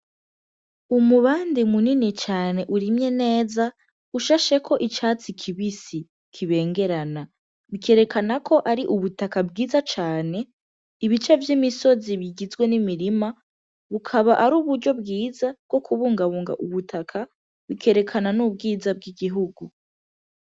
Umubande munini cane urimye neza ushasheko ivyatsi kibisi, kibengerana. Bikerekanako ari ubutaka bwiza cane; ibice vy'imisozi bigizwe n'imirima bukaba ari uburyo bwiza bwokubungabunga ubutaka bukerekana n'ubwiza bw'igihugu.